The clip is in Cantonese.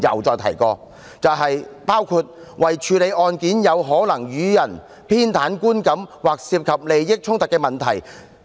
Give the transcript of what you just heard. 就是以免可能予人偏袒的觀感，或者有利益衝突的問題。